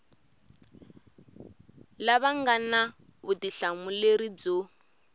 lava nga na vutihlamuleri byo